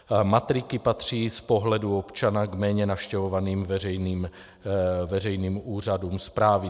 Matriky patří z pohledu občana k méně navštěvovaným veřejným úřadům správy.